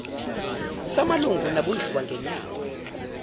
samalungu nabondliwa ngenyanga